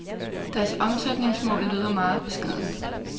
Deres omsætningsmål lyder meget beskedent.